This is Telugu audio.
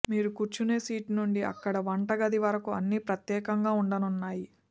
మీరు కూర్చునే సీటు నుండి అక్కడి వంటగది వరకు అన్ని ప్రత్యేకంగా ఉండనున్నాయి